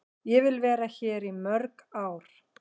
Ég vil vera hér í mörg ár.